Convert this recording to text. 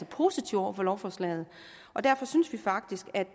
positive over for lovforslaget og derfor synes vi faktisk